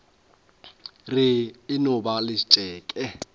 re e no ba letšeke